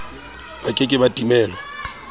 ba ke ke ba timelwa